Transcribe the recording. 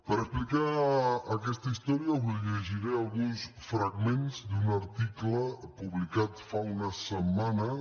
per explicar aquesta història us llegiré alguns fragments d’un article publicat fa unes setmanes